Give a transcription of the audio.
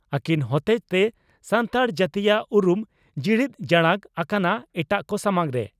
ᱟᱹᱠᱤᱱ ᱦᱚᱛᱮᱡᱛᱮ ᱥᱟᱱᱛᱟᱲ ᱡᱟᱹᱛᱤᱭᱟᱜ ᱩᱨᱩᱢ ᱡᱤᱲᱤᱫ ᱡᱟᱲᱟᱝ ᱟᱠᱟᱱᱟ ᱮᱴᱟᱜ ᱠᱚ ᱥᱟᱢᱟᱝ ᱨᱮ ᱾